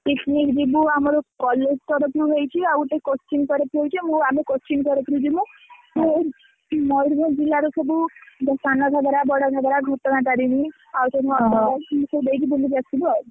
Picnic ଯିବୁ, ଆମର college ତରଫ ରୁ ହେଇଛି ଆଉ ଗୋଟେ coaching ତରଫ ରୁ ହେଇଛି ମୁଁ ଆମେ coaching ତରଫ ରୁ ଯିମୁ ମୟୂରଭଞ୍ଜ ଜିଲା ରେ ସବୁ ଯୋଉ ସନଘାଗରା, ବଡ଼ଘାଗରା, ଘଟଗାଁ ତରେଣୀ ଆଉ ତ ଓହୋ ଏମିତି ସବୁ ଦେଇକି ବୁଲି କି ଆସିବୁ ଆଉ।